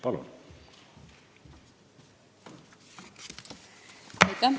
Palun!